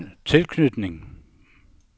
tilknytning